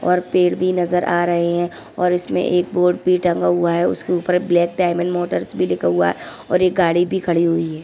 और पेड़ भी नजर आ रहे है और इसमे एक बोर्ड भी टंगा हुवा है उसके ऊपर ब्लैक डाइमंड मोटर्स भी लिखा हुआ है और गाड़ी भी खड़ी हुई है।